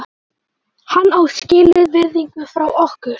Hann á skilið virðingu frá okkur.